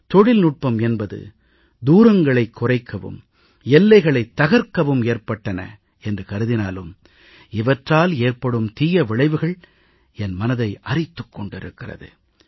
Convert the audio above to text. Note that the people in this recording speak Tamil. தொழில்நுட்பம் என்பது தூரங்களைக் குறைக்கவும் எல்லைகளைத் தகர்க்கவும் ஏற்பட்டன என்று கருதினாலும் இவற்றால் ஏற்படும் தீய விளைவுகள் என் மனத்தை அரித்துக் கொண்டிருக்கிறது